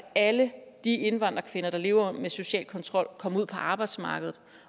alle de indvandrerkvinder der lever under social kontrol kommer ud på arbejdsmarkedet